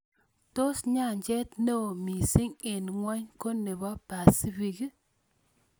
Tos' nyanjet ne oo miising' eng' ng'wony ko ne po pacific